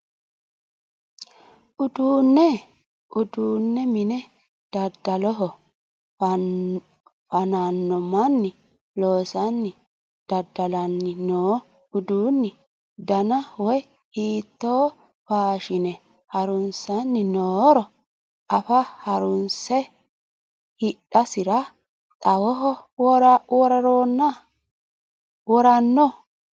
Uduunu mine daddaloho fa'nano manni loosani daddalani no uduuni dana woyi hiitto faashine harunsanni nooro affe harunse hidhasira xawoho worano .